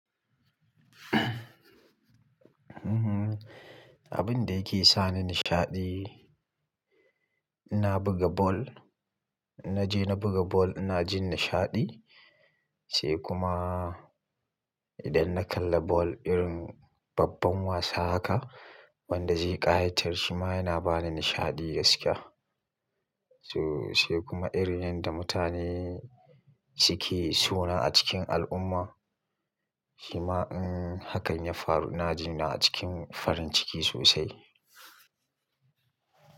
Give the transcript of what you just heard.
Abin da yake sa ni nishaɗi, inna buga ball. In Naje na buga ball ina jin nishaɗi. Sai kuma idan na kalla ball irin babban wasa haka wanda zai ƙayatar shi ma yana ba ni nishaɗi gaskiya. So-- sai kuma irin yanda mutane suke suna a cikin al'umma, shi ma in hakan ya faru ina jina a cikin farin ciki sosai.